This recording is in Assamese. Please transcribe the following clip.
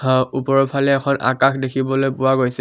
অ ওপৰৰ ফালে এখন আকাশ দেখিবলৈ পোৱা গৈছে।